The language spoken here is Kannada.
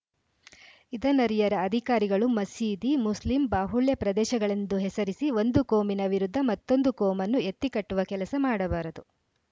ಇದನ್ನರಿಯರ ಅಧಿಕಾರಿಗಳು ಮಸೀದಿ ಮುಸ್ಲಿಂ ಬಾಹುಳ್ಯ ಪ್ರದೇಶಗಳೆಂದು ಹೆಸರಿಸಿ ಒಂದು ಕೋಮಿನ ವಿರುದ್ಧ ಮತ್ತೊಂದು ಕೋಮನ್ನು ಎತ್ತಿ ಕಟ್ಟುವ ಕೆಲಸ ಮಾಡಬಾರದು